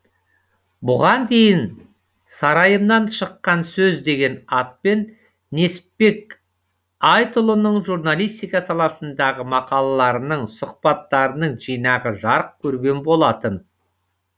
бұған дейін сарайымнан шыққан сөз деген атпен несіпбек айтұлының журналистика саласындағы мақалаларының сұхбаттарының жинағы жарық көрген болатын